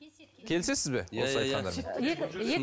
келісесіз бе осы айтқандарға иә иә